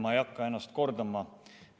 Ma ei hakka ennast kordama.